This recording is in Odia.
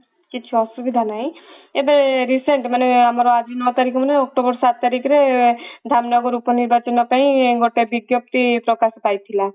କିଛି ଅସୁବିଧା ନାହିଁ ଏବେ recent ମାନେ ଆମର ଆଜି ନଅ ତାରିଖ ମାନେ october ସାତ ତାରିଖରେ ଧାମନଗର ଉପ ନିର୍ବାଚନ ପାଇଁ ଗୋଟେ ବିଜ୍ଞପ୍ତି ପ୍ରକାଶ ପାଇଥିଲା